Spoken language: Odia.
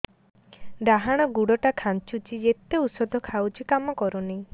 ଡାହାଣ ଗୁଡ଼ ଟା ଖାନ୍ଚୁଚି ଯେତେ ଉଷ୍ଧ ଖାଉଛି କାମ କରୁନି